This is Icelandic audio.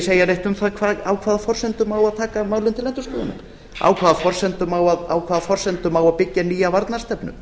segja neitt um það á hvaða forsendum á að taka málin til endurskoðunar á hvaða forsendum á að byggja nýja varnarstefnu